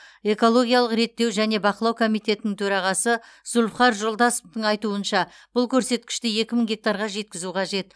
экологиялық реттеу және бақылау комитетінің төрағасы зулфухар жолдасовтың айтуынша бұл көрсеткішті екі мың гектарға жеткізу қажет